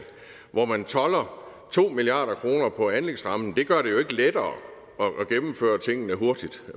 hvor man tolder to milliard kroner på anlægsrammen det gør det jo ikke lettere at gennemføre tingene hurtigt